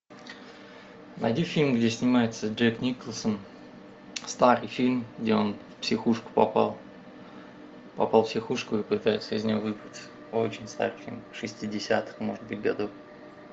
найди фильм где снимается джек николсон старый фильм где он в психушку попал попал в психушку и пытается из нее выбраться очень старый фильм шестидесятых может быть годов